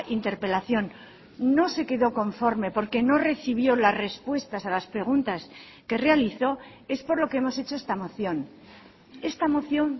interpelación no se quedó conforme porque no recibió las respuestas a las preguntas que realizó es por lo que hemos hecho esta moción esta moción